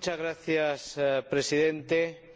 Señor Presidente,